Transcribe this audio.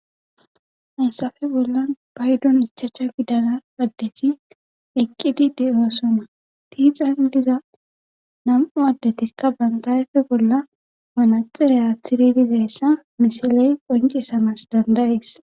haysafe bolla baydun ichacha gidala addeti eqqidi deosoma tiixan diza nam7u addetikka bantayefe bolla manaxireya athiridi dizayssa misiley qoncisamas dandayis